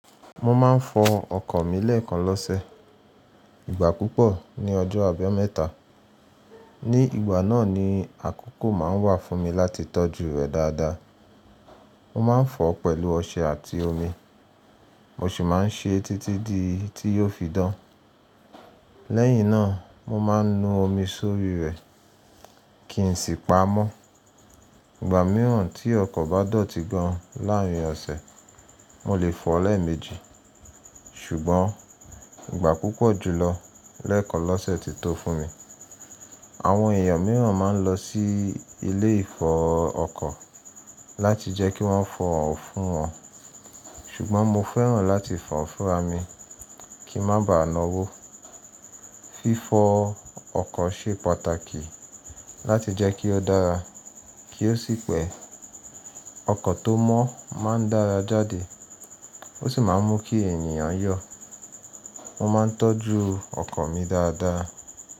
Mo ma ń fọ ọkọ̀ mi lẹ́ẹ̀kan lọ́sẹ̀, ìgbà púpọ̀ ni ọjọ́ àbẹ́ mẹ́ta. Ní ìgbà náà ni àkokò máa ń wà fún mi láti tọ́jú rẹ̀ dáadáa. Mo máa ń fọ̀ ọ́ pẹ̀lú ọṣẹ àti omi, mo sì máa ń ṣe é títí dí tí yóò fi dán. Lẹ́yìn náà, mo máa ń nu omi sórí rẹ̀ kí n sì pá á mọ́. Ìgbà mìíràn tí ọkọ̀ bá dọ̀tí gan láàárín ọ̀sẹ̀, mo lè fọ̀ ọ́ lẹ́ẹ̀mejì, ṣùgbọ́n ìgbà púpọ̀ jùlọ lẹ́ẹ̀kan lọ́sẹ̀ ti tó fún mi. Àwọn èèyàn mìíràn máa ń lọ sí ilé-ìfọ ọkọ̀ láti jẹ́ kí wọ́n fọ̀ ọ́n fún wọn, ṣùgbọ́n mo fẹ́ràn láti fọ̀ ọ́n fún ramí kí n má ba ná wò. Fífọ ọkọ̀ ṣe pàtàkì láti jẹ́ kí ó dára kí ó sì pẹ́. Ọkọ̀ tó mọ́ máa ń dára jáde, ó sì máa ń mú kí èèyàn yọ̀. Mo máa ń tọ́jú ọkọ̀ mi dáadáa.